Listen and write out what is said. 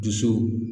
Dusu